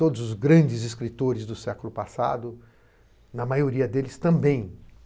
Todos os grandes escritores do século passado, na maioria deles também.